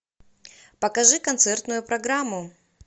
покажи концертную программу